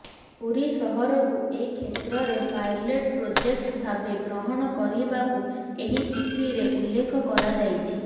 ପୁରୀ ସହରକୁ ଏ କ୍ଷେତ୍ରରେ ପାଇଲଟ୍ ପ୍ରୋଜେକ୍ଟ ଭାବେ ଗ୍ରହଣ କରିବାକୁ ଏହି ଚିଠିରେ ଉଲ୍ଲେଖ କରାଯାଇଛି